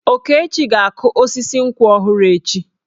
Okechi ga-akụ osisi nkwụ ọhụrụ echi.